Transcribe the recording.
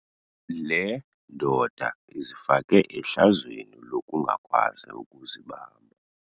Le ndoda izifake ehlazweni lokungakwazi ukuzibamba.